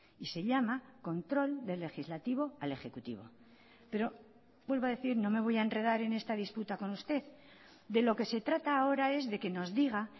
y se llama control del legislativo al ejecutivo pero vuelvo a decir no me voy a enredar en esta disputa con usted de lo que se trata ahora es de qué nos diga